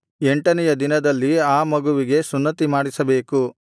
ಎಂಟನೆಯ ದಿನದಲ್ಲಿ ಆ ಮಗುವಿಗೆ ಸುನ್ನತಿಮಾಡಿಸಬೇಕು